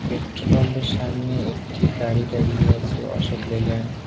Petrol পাম্পের সামনে একটি গাড়ি দাঁড়িয়ে আছে অশোক লেল্যান্ড ।